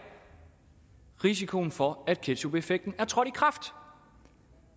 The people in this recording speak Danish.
risikoen for at ketchupeffekten er trådt i kraft